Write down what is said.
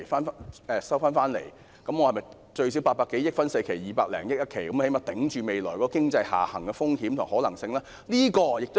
800多億元分4期償還，每期償還最少200多億元，最低限度在未來經濟下行的風險下支撐着。